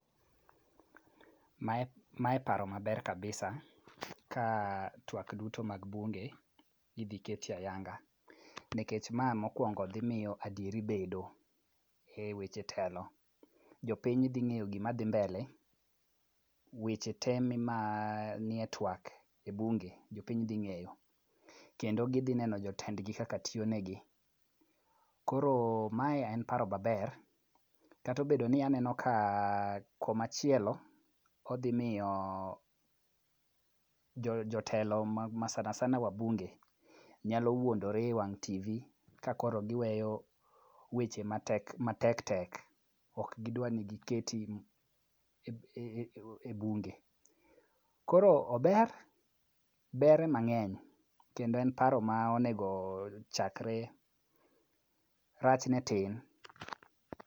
Mae paro maber kabisa ka twak duto mag bunge, idhi ket e ayanga. Nikech ma mokwongo dhi miyo adieri bedo e weche telo, jopiny dhi ng'eyo gima dhi mblele ,weche te manie twak e bunge, jopiny dhi ng'eyo, kendo gidhi neno jotendgi kaka tiyo negi. Koro mae en paro maber kata obedi aneno ka kumachielo, odhi miyo jotelo ma sana sana wabunge, nyalo wuondore e wang' tv kakoro giweyo weche matek tek, ok gidwa ni giketi e bunge. Koro ober, ber ema ng'eny kendo en paro monego chakre. Rachne tin.